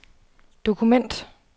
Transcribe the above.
dokument